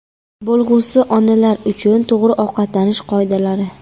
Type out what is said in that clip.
Bo‘lg‘usi onalar uchun to‘g‘ri ovqatlanish qoidalari.